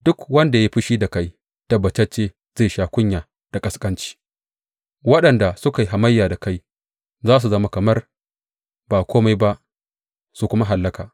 Duk wanda ya yi fushi da kai tabbatacce zai sha kunya da ƙasƙanci; waɗanda suka yi hamayya da kai za su zama kamar ba kome ba su kuma hallaka.